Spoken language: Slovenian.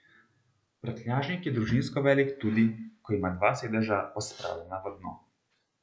Prtljažnik je družinsko velik tudi, ko imamo dva sedeža pospravljena v dno.